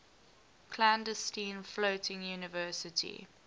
clandestine floating university